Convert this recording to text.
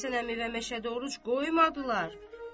Məhəmmədhəsən əmi və Məşədi Oruc qoymadılar.